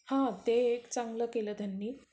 हा. ते एक चांगलं केलं त्यांनी.